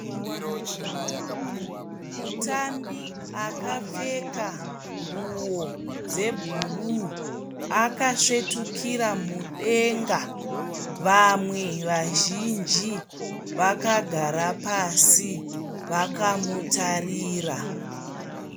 Mutambi akapfeka nguo dzebhuruu akasvetukira mudenga vamwe vazhinji vakagara pasi vakamutarira.